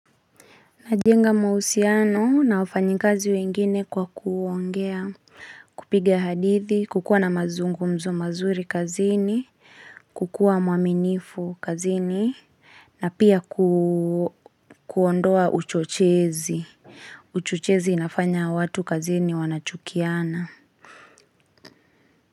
Najenga mahusiano na wafanyikazi wengine kwa kuongea, kupiga hadithi, kukuwa na mazungumzo mazuri kazini, kukuwa mwaminifu kazini, na pia kuondoa uchochezi. Uchochezi inafanya watu kazini wanachukiana.